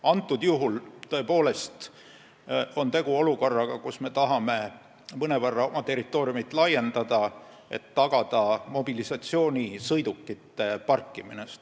Antud juhul on tõepoolest tegu olukorraga, kus me tahame oma territooriumi mõnevõrra laiendada, et tagada mobilisatsioonisõidukite parkimine.